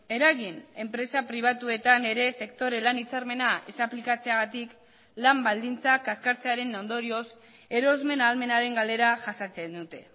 eragin enpresa pribatuetan ere sektore lan hitzarmena ez aplikatzeagatik lan baldintzak kaskartzearen ondorioz erosmen ahalmenaren galera jasatzen dute